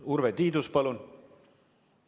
Urve Tiidus, palun!